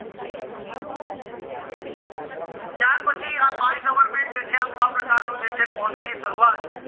ત્યાર પછી આ my government જે છે આ પ્રકારનું જે છે portal ની શરૂવાત